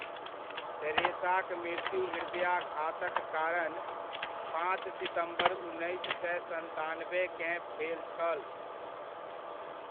टेरेसाक मृत्यु हृदयघातक कारण, पाँच सितम्बर उन्नैस सए सन्तानबेकेँ, भेल छल।